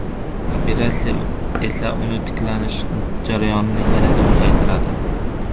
Operatsiya esa uning tiklanish jarayonini yanada uzaytiradi.